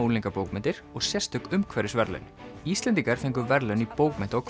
unglingabókmenntir og sérstök umhverfisverðlaun Íslendingar fengu verðlaun í bókmennta og